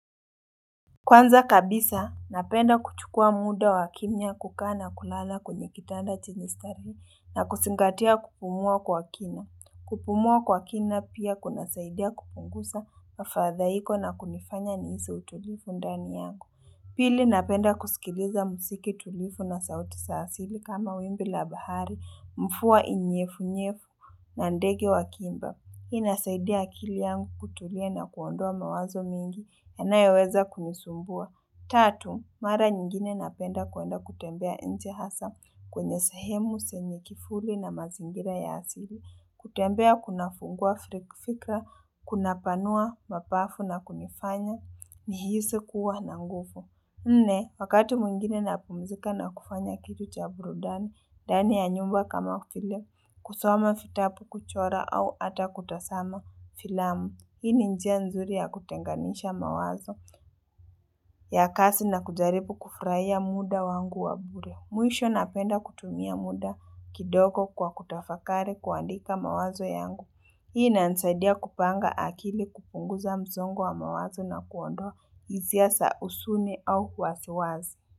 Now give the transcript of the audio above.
Kwanza kabisa, napenda kuchukua muda wa kimya kukaa na kulala kwenye kitanda chenye starehe na kuzingatia kupumua kwa kina. Kupumua kwa kina pia kunasaidia kupunguza mafadhaiko na kunifanya nihisi utulivu ndani yangu. Pili, napenda kusikiliza muziki tulivu na sauti za asili kama wimbi la bahari, mvua inyevu-nyevu na ndege wakiimba. Hii inasaidia akili yangu kutulia na kuondoa mawazo mengi yanayoweza kunisumbua. Tatu, mara nyingine napenda kuenda kutembea nje hasa kwenye sehemu, zenye kivuli na mazingira ya asili. Kutembea kuna fungua fikra, kunapanua mapafu na kunifanya, nihisi kuwa na nguvu Nne, wakati mwingine napumizika na kufanya kitu cha burudani, ndani ya nyumba kama vile, kusoma vitabu, kuchora au ata kutazama filamu Hii ni njia nzuri ya kutenganisha mawazo ya kazi na kujaribu kufurahia muda wangu wa bure. Mwisho napenda kutumia muda kidogo kwa kutafakari kuandika mawazo yangu. Hii inanisaidia kupanga akili, kupunguza msongo wa mawazo na kuondoa hisia sa huzuni au wasiwasi.